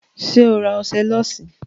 Ṣé o ra ọṣẹ lọ́ọ̀sì?